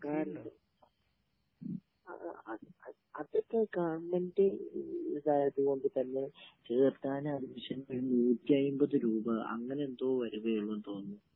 സർക്കാരിന്റെ....അതൊക്കെ government ആയതുകൊണ്ട് തന്നെ ചേർക്കാൻ അഡ്മിഷൻ ന് ഒരു 150 രൂപ. അങ്ങനെയെന്തോ വരുവേ ഉള്ളെന്ന് തോന്നുന്നു.